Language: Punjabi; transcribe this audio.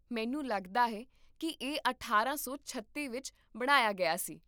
ਮੈਨੂੰ ਲੱਗਦਾ ਹੈ ਕਿ ਇਹ ਅਠਾਰਾਂ ਸੌ ਛੱਤੀ ਵਿੱਚ ਬਣਾਇਆ ਗਿਆ ਸੀ